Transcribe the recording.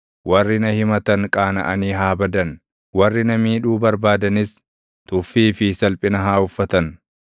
Warri na himatan qaanaʼanii haa badan; warri na miidhuu barbaadanis tuffii fi salphina haa uffatan.